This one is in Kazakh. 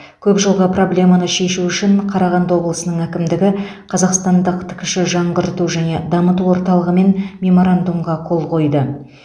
көп жылғы проблеманы шешу үшін қарағанды облысының әкімдігі қазақстандық ткш жаңғырту және дамыту орталығымен меморандумға қол қойды